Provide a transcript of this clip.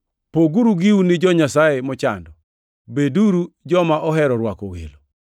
Poguru giu gi jo-Nyasaye mochando. Beduru joma ohero rwako welo.